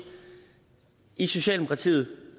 i socialdemokratiet